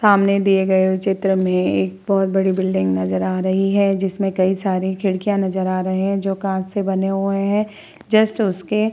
सामने दिए हुए चित्र में एक बोहोत बड़ी बिल्डिंग नजर आ रही है जिसमे कई सारे खिड़कियां नजर आ रही है जो कांच से बने हुए है जस्ट उससे --